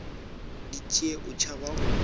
di tšee o tšhaba go